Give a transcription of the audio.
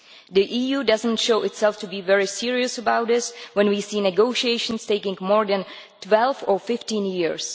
The EU does not show itself to be very serious about this, when we see negotiations taking more than 12 or 15 years.